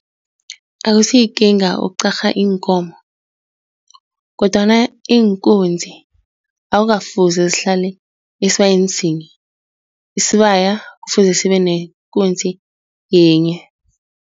Akusiyikinga ukuqarha iinkomo kodwana iinkunzi akukafuzi zihlale esibayeni sinye, isibaya kufuze sibe nekunzi yinye.